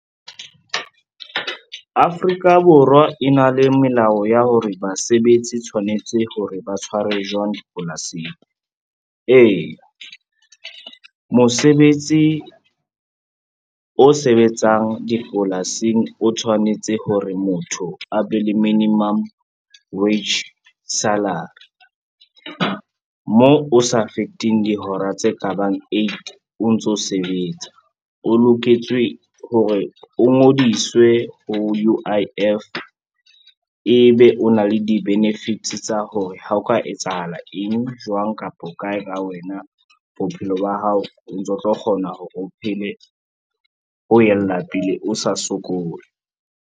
Afrika Borwa e na le melao ya hore basebetsi tshwanetse hore ba tshwarwe jwang dipolasing. Ee, mosebetsi o sebetsang dipolasing o tshwanetse hore motho a be le minimum wage salary, moo o sa feteng dihora tse ka bang eight o ntso sebetsa. O loketswe hore o ngodiswe ho U_I_F, ebe o na le di-benefits tsa hore ha o ka etsahala eng, jwang kapa ho kae ka wena bophelo ba hao o ntso tlo kgona hore o phele, o yella pele o sa sokole.